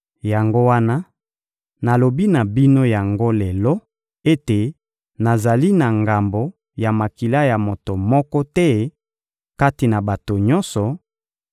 Yango wana, nalobi na bino yango lelo ete nazali na ngambo ya makila ya moto moko te kati na bato nyonso,